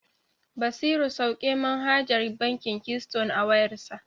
Basiru sauke manhajar bankin Keyston a wayarsa.